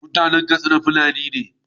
mutAnan Katsina fulani ne